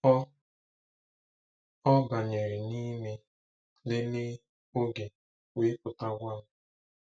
Ọ Ọ banyere n'ime, lelee oge, wee pụta gwa m.